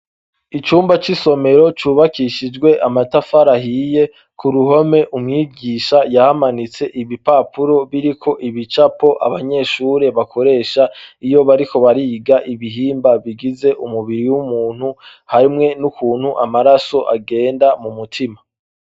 Icumba c'isomero cubakishijwe amatafarahiye ku ruhome umwigisha yahamanitse ibipapuro biriko ibicapo abanyeshure bakoresha iyo bariko bariga ibihimba bigize umubiri w'umuntu hamwe n'ukuntu amaraso agenda mu mutima.